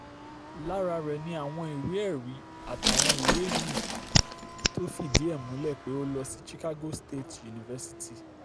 lára rẹ̀ ni àwọn ìwé-ẹ̀rí àtàwọn ìwé mí-ín tó fìdí ẹ̀ múlẹ̀ pé ó lọ sí chicago state university